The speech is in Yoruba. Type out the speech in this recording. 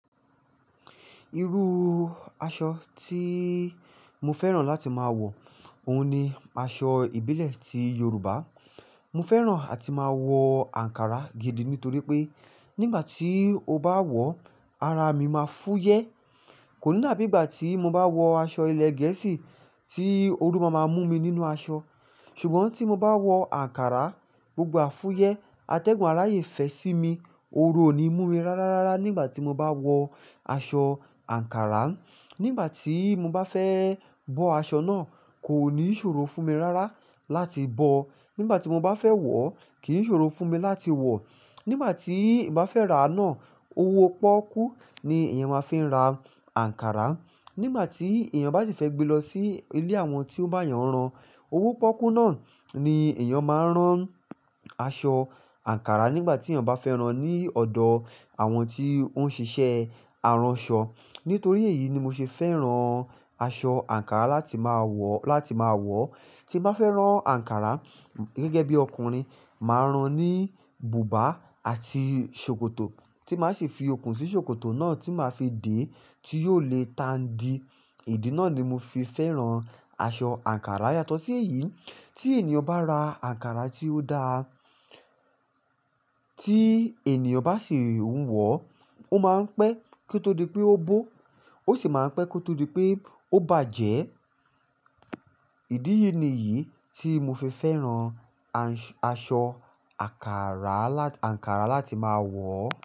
Irú aṣọ tí mo fẹ́ràn láti máa wọ, òun ni aṣọ ìbílẹ̀ ti Yoruba. Mo fẹ́ràn àti máa wọ ankara gidi nítorí pé nígbà tí mo bá wọ̀, ara mi máa fúyẹ́. Kò ní dàbí ìgbà tí mo bá wọ aṣọ ilẹ̀ Gẹ̀ẹ́sì tí ooru ma máa mú mi nínú aṣọ. Ṣùgbọ́n tí mo bá wọ ankara, gbogbo e afúyẹ́, atẹ́gùn rayẹ̀ fẹ́ sí mi, ooru ò ní mú mi rárá, rárá nígbà tí mo bá wọ aṣọ ankara. Nígbà tí mo bá fẹ́ bọ́ aṣọ náà, kò ní ṣòro fún mi rárá láti bọ. Nígbà tí mo bá fẹ́ wọ̀, kì í ṣòro fún mi láti wọ̀. Nígbà tí mo bá fẹ́ rà á náà, owó pọ́kú ni èèyàn máa fi ra ankara. Nígbà tí èèyàn bá ti fẹ́ gbe lọ sí ilé àwọn tí ó bá yàn rán, owó pọ́kú náà ni èèyàn máa rán aṣọ ankara nígbà tí èèyàn bá fẹ́ rán ní ọ̀dọ̀ àwọn tí ó ń ṣiṣẹ́ aránṣọ. Nítorí èyí ni mo ṣe fẹ́ràn aṣọ ankara láti máa wọ̀, láti máa wọ̀. Tí mo bá fẹ́ rán ankara gẹ́gẹ́ bí ọkùnrin, màá rán ní bùbá àti ṣòkòtò tí màá ṣi fi okùn sí ṣòkòtò náà tí màá fi dè tí yóò le tan di. Ìdí náà ni mo fi fẹ́ràn aṣọ ankara. Yàtọ̀ sí èyí, tí ènìyàn bá ra ankara tí ó dáa tí ènìyàn bá sì ń wọ, ó máa ń pẹ́ kí ó tó di pé ó bó. Ó sì máa ń pẹ́ kí ó tó di pé ó bàjẹ́. Ìdíyen ni yìí tí mo fi fẹ́ràn aṣọ ankara lá-- ankara láti máa wọ̀.